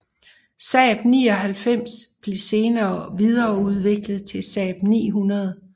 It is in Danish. Saab 99 blev senere videreudviklet til Saab 900